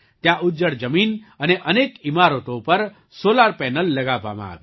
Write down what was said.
ત્યાં ઉજ્જડ જમીન અને અનેક ઈમારતો પર સૉલાર પેનલલગાવવામાં આવી